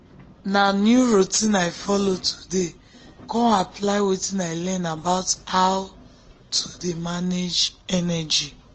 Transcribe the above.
na new routine i follow today kon apply wetin i learn about how to dey manage energy.